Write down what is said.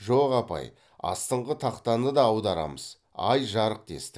жоқ апай астыңғы тақтаны да аударамыз ай жарық дестік